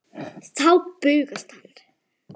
Þá bugast hann.